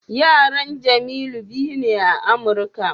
Yaran Jemilu biyu na Amurka.